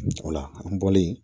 O la an bɔlen